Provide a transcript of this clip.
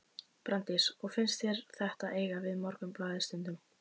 Bryndís: Og finnst þér þetta eiga við Morgunblaðið stundum?